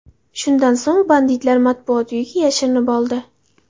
Shundan so‘ng banditlar Matbuot uyiga yashirinib oldi.